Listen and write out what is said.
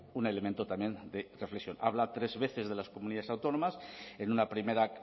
un elemento también de reflexión habla tres veces de las comunidades autónomas en una primera